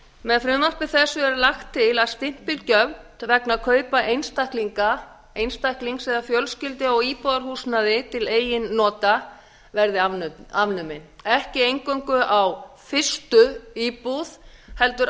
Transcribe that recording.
með frumvarpi þessu er lagt til að stimpilgjöld vegna kaupa einstaklinga einstaklings eða fjölskyldu á íbúðarhúsnæði til eigin nota verði afnumin ekki eingöngu á fyrstu íbúð heldur